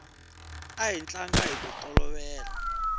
a hi tlanga hiku tolovela